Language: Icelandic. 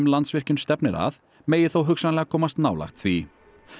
Landsvirkjun stefnir að megi þó hugsanlega komast nálægt því